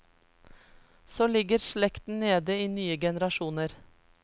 Så ligger slekten nede i nye generasjoner.